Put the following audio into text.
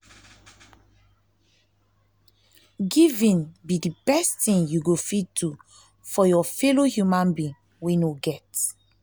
giving be the best thing you go fit do for your fellow human being wey no get